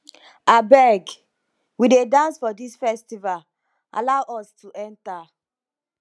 abeg we dey dance for dis festival allow us to enter